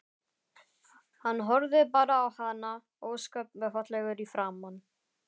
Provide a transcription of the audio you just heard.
Hann horfði bara á hana, ósköp fallegur í framan.